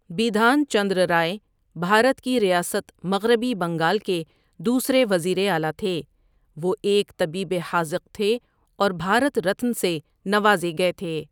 بِدھان چندرا رائے بھارت کی ریاست مغربی بنگال کے دوسرے وزیر اعلٰی تھے وہ ایک طبیب حاذق تھے اور بھارت رتن سے نوازے گئے تھے۔